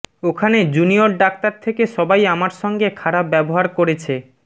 ওখানে জুনিয়র ডাক্তার থেকে সবাই আমার সঙ্গে খারাপ ব্যবহার করেছে